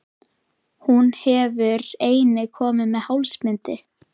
Hún hefur einnig komið með hálsbindi.